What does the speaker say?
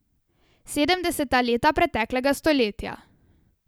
Sedemdeseta leta preteklega stoletja.